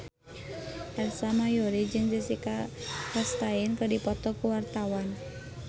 Ersa Mayori jeung Jessica Chastain keur dipoto ku wartawan